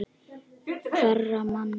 Hverra manna?